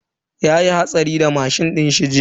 Yayi hatsari da mashin dinshi jiya.